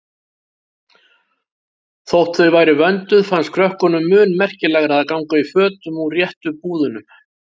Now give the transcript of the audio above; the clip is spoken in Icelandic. Þótt þau væru vönduð fannst krökkunum mun merkilegra að ganga í fötum úr réttu búðunum.